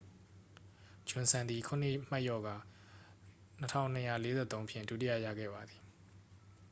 ဂျွန်စန် သည် ခုနစ်မှတ်လျော့ကာ 2,243 ဖြင့် ဒုတိယရခဲ့ပါသည်